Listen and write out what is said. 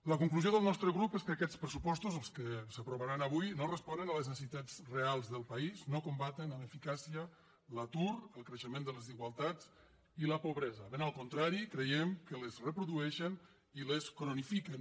la conclusió del nostre grup és que aquests pressupostos els que s’aprovaran avui no responen a les necessitats reals del país no combaten amb eficàcia l’atur el creixement de les desigualtats i la pobresa ben al contrari creiem que les reprodueixen i les cronifiquen